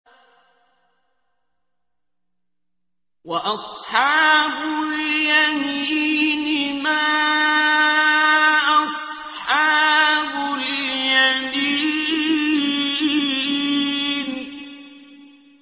وَأَصْحَابُ الْيَمِينِ مَا أَصْحَابُ الْيَمِينِ